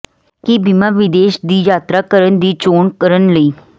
ਕੀ ਬੀਮਾ ਵਿਦੇਸ਼ ਦੀ ਯਾਤਰਾ ਕਰਨ ਦੀ ਚੋਣ ਕਰਨ ਲਈ